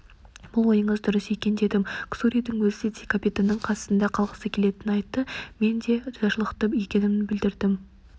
бұл ойыңыз дұрыс екен дедім ксуридің өзі де капитанның қасында қалғысы келетінін айтты мен де ризашылықта екенімді білдірдім